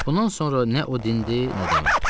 Bundan sonra nə o dindi, nə də mən.